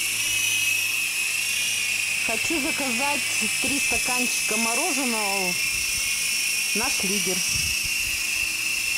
хочу заказать три стаканчика мороженого наш лидер